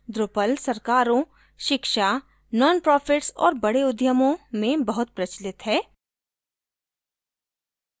drupal सरकारों शिक्षा nonprofits और बड़े उद्यमों में बहुत प्रचलित है